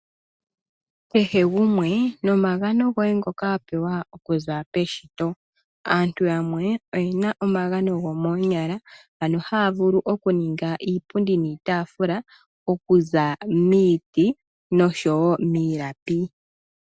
Kehe gumwe nomagano goye ngoka wapewa okuza peshito. Aantu yamwe oyena omagano gomoonyala ano haya vulu okuninga iipundi niitaafula okuza miiti noshowo miilapi .